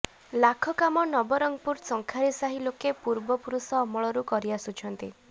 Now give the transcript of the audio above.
ଲାଖ କାମ ନବରଙ୍ଗପୁର ଶଙ୍ଖାରୀ ସାହି ଲୋକେ ପୁର୍ବ ପୁରୁଷ ଅମଳରୁ କରି ଆସୁଛନ୍ତି